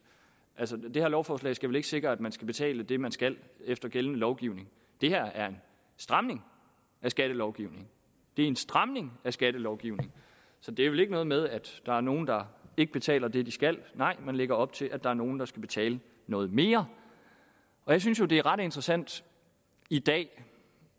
altså det her lovforslag skal vel ikke sikre at man skal betale det man skal efter gældende lovgivning det her er en stramning af skattelovgivningen det er en stramning af skattelovgivningen så det er vel ikke noget med at der er nogle der ikke betaler det de skal nej man lægger op til at der er nogle der skal betale noget mere jeg synes jo det er ret interessant i dag